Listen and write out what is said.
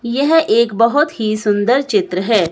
यह एक बहुत ही सुंदर चित्र है।